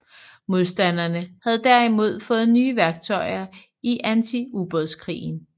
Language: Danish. Modstanderne havde derimod fået nye værktøjer i antiubådskrigen